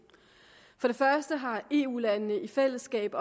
for det første har eu landene i fællesskab